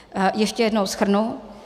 Ještě jednou shrnu.